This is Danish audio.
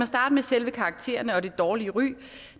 starte med selve karaktererne og det dårlige ry